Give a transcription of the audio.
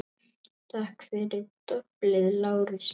Takk fyrir doblið, Lárus minn